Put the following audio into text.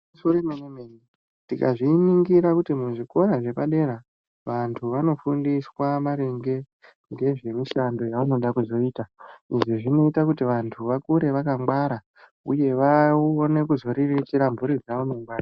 Itori mene mene tikazviningira kuti muzvikoro zvepadera vandu vanofundiswa maringe ngezvemushando wavanenge veyida kuzoita izvo zvinoita kuti vandu vakure vakangwara uye vaone kuzoriritira muzi wavo ngemare.